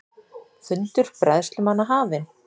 Fundur bræðslumanna hafinn